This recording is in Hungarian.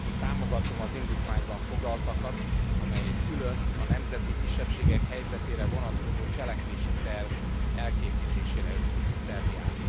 Támogatom az indítványban foglaltakat, amely egy külön, a nemzeti kisebbségek helyzetére vonatkozó cselekvési terv elkészítésére ösztönzi Szerbiát.